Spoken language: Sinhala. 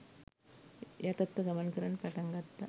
යටත්ව ගමන් කරන්න පටන් ගත්තා